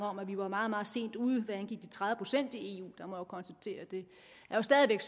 om at vi var meget meget sent ude hvad angik de tredive procent i eu og jeg må konstatere at det jo stadig væk